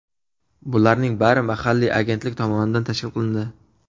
Bularning bari mahalliy agentlik tomonidan tashkil qilindi.